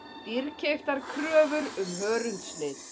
Dýrkeyptar kröfur um hörundslit